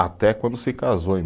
Até quando se casou, em